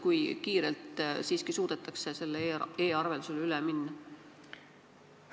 Kui kiirelt siiski suudetakse e-arveldusele üle minna?